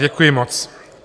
Děkuji moc.